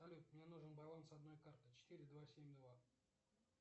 салют мне нужен баланс одной карты четыре два семь два